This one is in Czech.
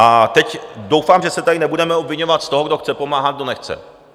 A teď doufám, že se tady nebudeme obviňovat z toho, kdo chce pomáhat, kdo nechce.